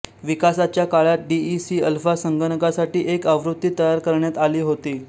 विकासाच्या काळात DEC alpha संगणकासाठी एक आवृत्ती तयार करण्यात आली होती